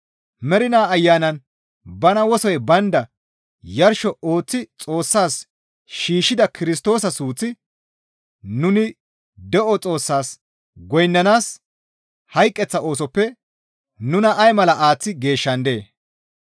mernaa Ayanan bana wosoy baynda yarsho ooththi Xoossas shiishshida Kirstoosa suuththi nuni de7o Xoossaas goynnanaas hayqeththa oosoppe nuna ay mala aaththi geeshshandee?